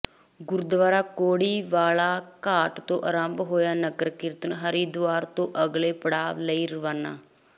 ਗੁਰਦੁਆਰਾ ਕੋੜੀ ਵਾਲਾ ਘਾਟ ਤੋਂ ਆਰੰਭ ਹੋਇਆ ਨਗਰ ਕੀਰਤਨ ਹਰਿਦੁਆਰ ਤੋਂ ਅਗਲੇ ਪੜਾਅ ਲਈ ਰਵਾਨਾ